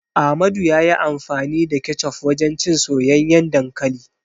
Amadu ya yi amfani da kecof wajen cin soyayyen dankali.